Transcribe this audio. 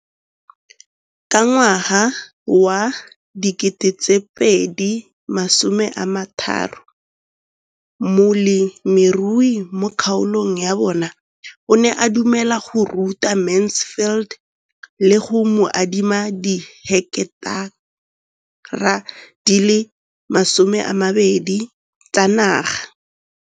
Ka ngwaga wa 2013, molemirui mo kgaolong ya bona o ne a dumela go ruta Mansfield le go mo adima di heketara di le 12 tsa naga.